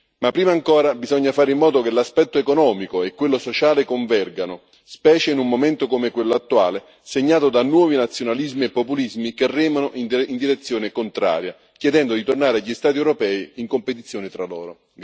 Ma prima ancora bisogna fare in modo che l'aspetto economico e quello sociale convergano, specie in un momento come quello attuale, segnato da nuovi nazionalismi e populismi che remano in direzione contraria, chiedendo di tornare agli Stati europei in competizione tra loro.